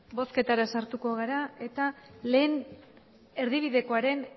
bozketara sartuko gara eta lehen erdibidekoaren